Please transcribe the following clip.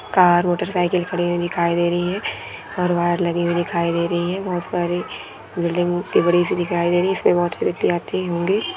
Car motor cycle खड़ी हुई दिखाई दे रही है और वाईर लगी हुई दिखाई दे रही है बहुत सारे बिल्डिंग बडि सी दिखाई दे रही है इसमे बहुत से व्यक्ति आते होंगे।